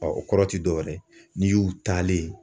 o kɔrɔ ti dɔwɛrɛ ye n'i y'u talen ye.